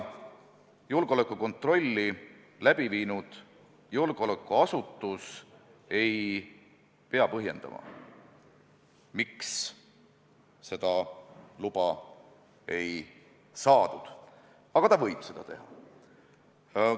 Julgeolekukontrolli teinud julgeolekuasutus ei pea tavaliselt põhjendama, miks seda luba ei saadud, aga ta võib seda teha.